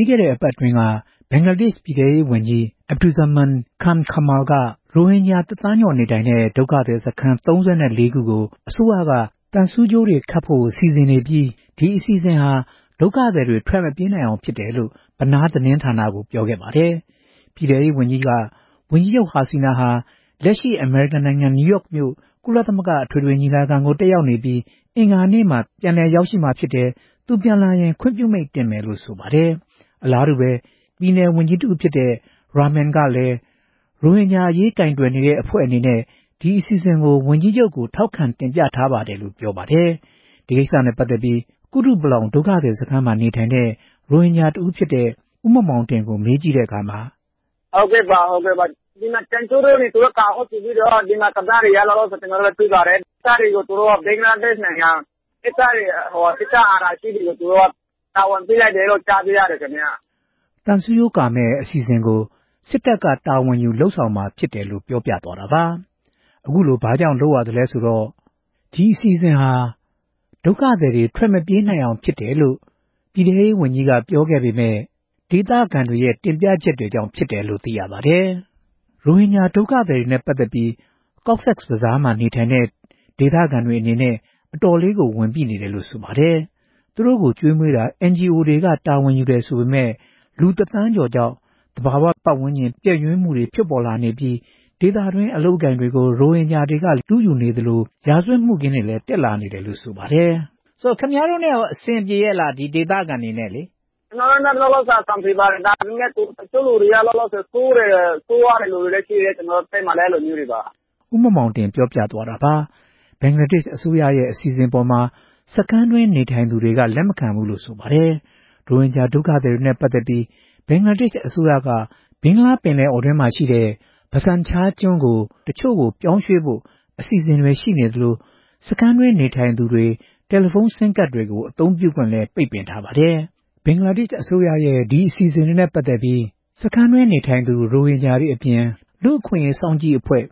ြီးခဲ့တဲ့ အပတ်အတွင်းက ဘင်္ဂလားဒေ့ရှ်ပြည်ထဲရေးဝန်ကြီး Asaduzzaman Khan Kamal က ရိုဟင်ဂျာတစ်သန်းကျော် နေထိုင်နေတဲ့ ဒုက္ခသည်စခန်း ၃၄ ခုကို အစိုးရက သံဆူးကြိုးတွေ ခတ်ဖို့ စီစဉ်နေပြီး ဒီအစီအစဉ်ဟာ ဒုက္ခသည်တွေ ထွက်မပြေးနိုင်အောင်ဖြစ်တယ်လို့ Benar သတင်းဌာနကို ပြောခဲ့ပါတယ်။ ပြည်ထဲရေးဝန်ကြီးက ဝန်ကြီးချုပ် ဟာဆီနာဟာ လက်ရှိမှာ အမေရိကန်နိုင်ငံ နယူးယောက်က ကုလသမဂ္ဂအထွေထွေညီလာခံကို တက်ရောက်နေပြီး အင်္ဂါနေ့မှာ ပြန်လည်ရောက်မှာ ဖြစ်တယ်လို့ သူပြန်လာရင် ခွင့်ပြုမိန့်တင်မယ်လို့ ပြောပါတယ်။ ပြည်နယ်ဝန်ကြီးတဦးဖြစ်တဲ့ Rahman ကလည်း သူတို့ ရိုဟင်ဂျာအရေး ကိုင်တွယ်တဲ့အဖွဲ့အနေနဲ့ ဒီသံဆူးကြိုးကာမယ့် အစီအစဉ်ကို ဝန်ကြီးချုပ်ထံကို ထောက်ခံတင်ပြထားတယ်လို့ ပြောပါတယ်။ ဒီကိစ္စနဲ့ပတ်သက်ပြီး ကုတုပလောင်ဒုက္ခသည်စခန်းမှာ နေထိုင်တဲ့ ရိုဟင်ဂျာတဦးဖြစ်တဲ့ ဦးမောင်မောင်တင်ကို မေးကြည့်တဲ့အခါ…. “ဟုတ်ကဲ့ပါ။ ကျနော်တို့ သိပါတယ်။ ဒီအစီအစဉ်ကို ဘင်္ဂလားဒေ့ရ်ှစစ်တပ်က တာဝန်ယူမယ်လို့ ကြားပါတယ်” လို့ ပြောပါတယ်။ ဒီအစီအစဉ်နဲ့ ပတ်သက်ပြီး ပြည်ထဲရေးဝန်ကြီးက ရိုဟင်ဂျာတွေ ထွက်မပြေးနိုင်အောင်လို့ ပြောပေမယ့် ဒေသတွင်းနေထိုင်သူတွေရဲ့တင်ပြချက်တွေကြောင့် ဖြစ်ပါတယ်။ ရိုဟင်ဂျာဒုက္ခသည်တွေနဲ့ပတ်သက်ပြီး Cox’s Baszar မှာ နေထိုင်တဲ့ ဒေသခံတွေအနေနဲ့ အတော်လေးဝန်ပိနေပါတယ်။ သူတို့ကို ကျွေးမွေးတာကို NGO တွေက တာဝန်ယူတယ်ဆိုပေမယ့် လူတသန်းကျော်ကြောင့် သဘာဝပတ်ဝန်းကျင် ပျက်ယွင်းမှုတွေ ဖြစ်လာနေပြီး ဒေသတွင်း အလုပ်အကိုင်တွေကို ရိုဟင်ဂျာတွေက လုယူနေသလို ရာဇဝတ်မှုခင်းတွေလည်း တက်လာနေတာကြောင့်ပါ။ “ ကျနော်တို့နဲ့ ဒေသခံတွေ အဆင်ပြေပါတယ်။ ဒါပေမယ့် ကျနော်တို့ လူတွေထဲမှာလည်း တချို့က ဆိုးတာတွေ ရှိပါတယ်” လို့ ဦးမောင်မောင်တင် ပြောပါတယ်။ ဘင်္ဂလားဒေ့ရ်ှအစိုးရရဲ့ဒီအစီအစဉ်အပေါ် စခန်းတွင်း နေထိုင်သူတွေက လက်မခံကြပါဘူး။ ရိုဟင်ဂျာဒုက္ခသည်တွေနဲ့ ပတ်သက်ပြီး ဘင်္ဂလားဒေ့ရ်ှအစိုးရက ဘင်္ဂလားပင်လယ်အော်အတွင်းက Bhasan Charကျွန်းကို ပြောင်းရွှေ့ဖို့ အစီအစဉ်တွေရှိသလို စခန်းတွေမှာ နေထိုင်သူတွေ တယ်လီဖုန်းဆင်းကဒ်တွေ အသုံးပြုခွင့်ကိုလည်း ပိတ်ပင်ထားပါတယ်။ ဘင်္ဂလားဒေ့ရ်ှအစိုးရရဲ့ အစီအစဉ်နဲ့ပတ်သက်ပြီး လူ့အခွင့်အရေးစောင့်ကြည့်အဖွဲ့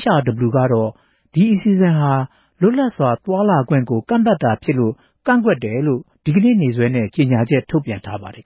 HRW ကတော့ ဒီအစီအစဉ်ဟာ လွတ်လပ်စွာ သွားလာလှုှုပ်ရှားခွင့်ကို ကန့်သတ်တာဖြစ်လို့ ကန့်ကွက်တယ်လို့ အောက်တိုဘာလ ၁ရက်နေ့က ကြေညာချက်ထုတ်ပြန်ထားပါတယ်